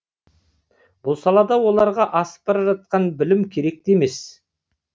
бұл салада оларға асып бара жатқан білім керек те емес